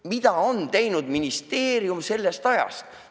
Mida on teinud ministeerium sellest ajast alates?